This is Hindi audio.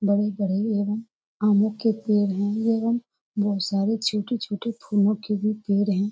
बड़े-बड़े एवम आमो के पेड़ है ये एवम बहुत सारे छोटे-छोटे फूलो के भी पेड़ है।